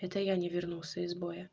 это я не вернулся из боя